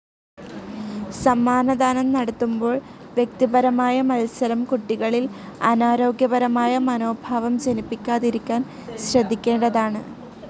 സമ്മാനദാനം നടത്തുമ്പോൾ വ്യക്തിപരമായ മത്സരം കുട്ടികളിൽ അനാരോഗ്യപരമായ മനോഭാവം ജനിപ്പിക്കാതിരിക്കാൻ ശ്രദ്ധിക്കേണ്ടതാണ്.